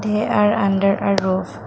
they are under a roof.